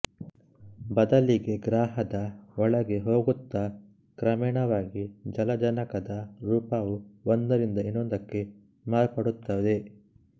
ಬದಲಿಗೆ ಗ್ರಹದ ಒಳಗೆ ಹೋಗುತ್ತಾ ಕ್ರಮೇಣವಾಗಿ ಜಲಜನಕದ ರೂಪವು ಒಂದರಿಂದ ಇನ್ನೊಂದಕ್ಕೆ ಮಾರ್ಪಡುತ್ತದೆ